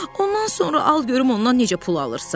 Ondan sonra al görüm ondan necə pul alırsan.